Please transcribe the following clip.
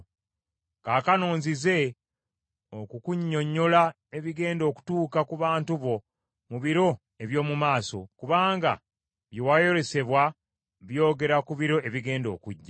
Kaakano nzize okukunnyonnyola ebigenda okutuuka ku bantu bo mu biro eby’omu maaso; kubanga bye wayolesebwa byogera ku biro ebigenda okujja.”